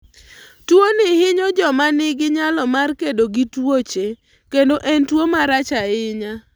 Tuwono hinyo joma nigi nyalo mar kedo gi tuoche, kendo en tuwo marach ahinya.